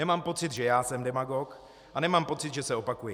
Nemám pocit, že já jsem demagog, a nemám pocit, že se opakuji.